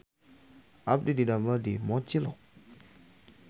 Abdi didamel di Mochilok